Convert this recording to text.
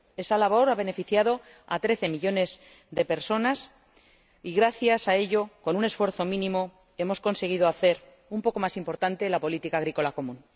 Esa labor ha beneficiado a trece millones de personas y, gracias a ello, con un esfuerzo mínimo hemos conseguido hacer un poco más importante la política agrícola común.